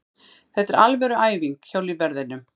Þetta er alvöru æfing hjá lífverðinum.